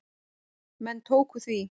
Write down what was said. Menn tóku því.